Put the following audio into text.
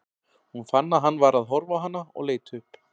Hún fann að hann var að horfa á hana og leit upp.